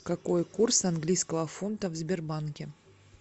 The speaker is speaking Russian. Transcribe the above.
какой курс английского фунта в сбербанке